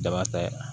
Daba ta ye